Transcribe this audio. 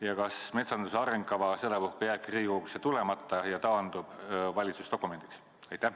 Ja kas metsanduse arengukava sedapuhku jääbki Riigikogusse tulemata ja taandub valitsuse dokumendiks?